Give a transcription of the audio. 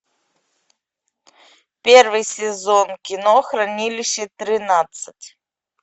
первый сезон кино хранилище тринадцать